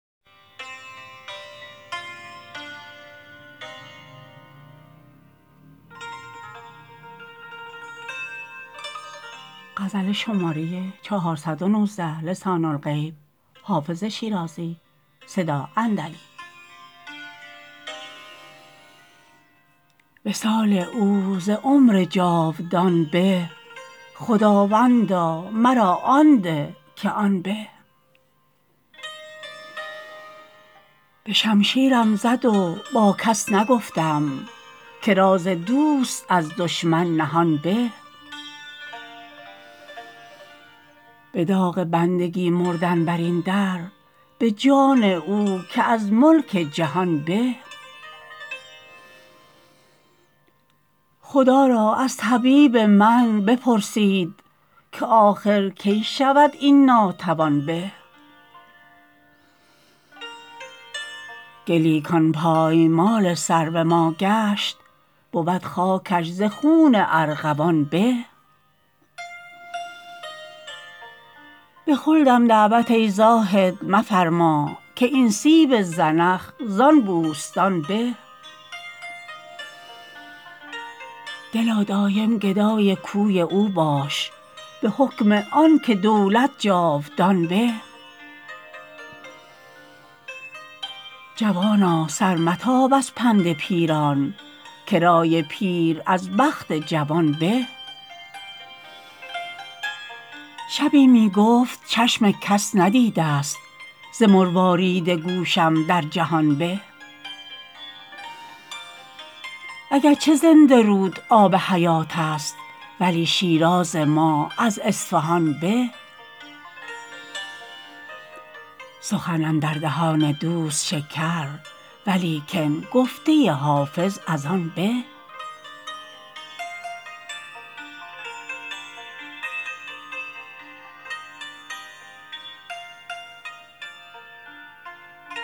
وصال او ز عمر جاودان به خداوندا مرا آن ده که آن به به شمشیرم زد و با کس نگفتم که راز دوست از دشمن نهان به به داغ بندگی مردن بر این در به جان او که از ملک جهان به خدا را از طبیب من بپرسید که آخر کی شود این ناتوان به گلی کان پایمال سرو ما گشت بود خاکش ز خون ارغوان به به خلدم دعوت ای زاهد مفرما که این سیب زنخ زان بوستان به دلا دایم گدای کوی او باش به حکم آن که دولت جاودان به جوانا سر متاب از پند پیران که رای پیر از بخت جوان به شبی می گفت چشم کس ندیده ست ز مروارید گوشم در جهان به اگر چه زنده رود آب حیات است ولی شیراز ما از اصفهان به سخن اندر دهان دوست شکر ولیکن گفته حافظ از آن به